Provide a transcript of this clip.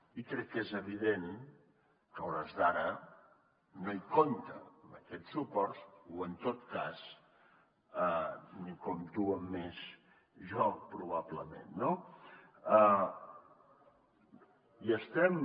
i crec que és evident que a hores d’ara no hi compta amb aquests suports o en tot cas en compto amb més jo probablement no i estem